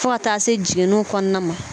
Fo ka taa se jiginiw kɔnɔna ma.